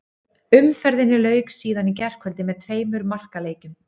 Umferðinni lauk síðan í gærkvöldi með tveimur markaleikjum.